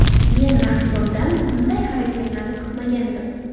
Men raqibimdan bunday harakatlarni kutmagandim.